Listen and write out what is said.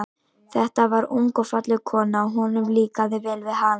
Þetta var ung og falleg kona, og honum líkaði vel við hana.